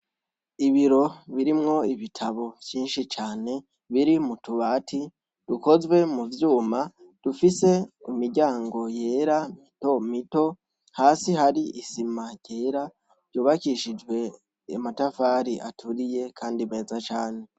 Ibiro birimwo ibitabo vyinshi cane biri mu tubati dukozwe mu vyuma dufise imiryango yera mito muto hasi hari isima yera yubakishijwe amatafari aturiye kandi meza cane.